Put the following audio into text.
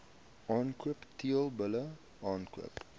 aankoop teelbulle aankoop